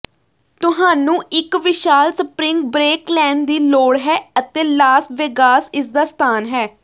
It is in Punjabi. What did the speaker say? ਤੁਹਾਨੂੰ ਇੱਕ ਵਿਸ਼ਾਲ ਸਪਰਿੰਗ ਬਰੇਕ ਲੈਣ ਦੀ ਲੋੜ ਹੈ ਅਤੇ ਲਾਸ ਵੇਗਾਸ ਇਸਦਾ ਸਥਾਨ ਹੈ